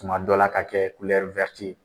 Tuma dɔ la ka kɛ kulɔri ye.